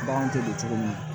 Bagan tɛ don cogo min na